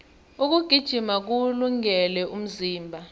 ukugijima kuwulungele umzimba